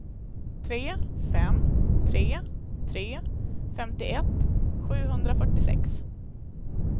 tre fem tre tre femtioett sjuhundrafyrtiosex